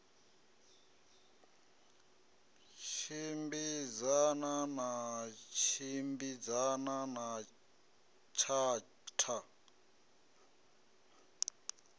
tshimbidzana na tshimbidzana na tshatha